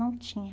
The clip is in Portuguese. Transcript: Não tinha.